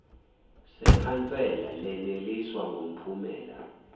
sekhansela leneliswa ngumphumela